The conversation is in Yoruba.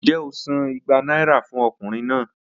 Njẹ o san igba naira fun ọkunrin naa?